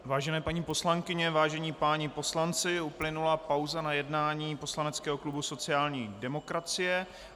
Vážené paní poslankyně, vážení páni poslanci, uplynula pauza na jednání poslaneckého klubu sociální demokracie.